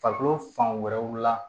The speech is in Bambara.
Farikolo fan wɛrɛw la